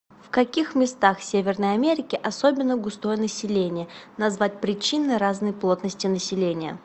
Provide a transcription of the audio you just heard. в каких местах северной америки особенно густое население назвать причины разной плотности населения